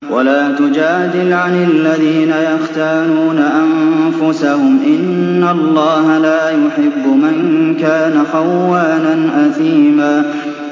وَلَا تُجَادِلْ عَنِ الَّذِينَ يَخْتَانُونَ أَنفُسَهُمْ ۚ إِنَّ اللَّهَ لَا يُحِبُّ مَن كَانَ خَوَّانًا أَثِيمًا